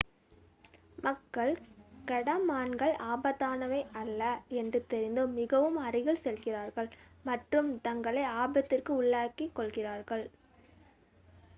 மக்கள் கடமான்கள் ஆபத்தானவை அல்ல என்று தெரிந்தும் மிகவும் அருகில் செல்கிறார்கள் மற்றும் தங்களை ஆபத்திற்கு உள்ளாக்கிக் கொள்கிறார்கள்